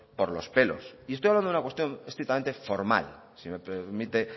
por los pelos y estoy hablando de una cuestión estrictamente formal si me lo permite